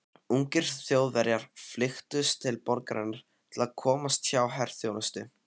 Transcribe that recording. Ungir Þjóðverjar flykktust til borgarinnar til að komast hjá herþjónustu.